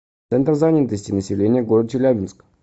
центр занятости населения г челябинска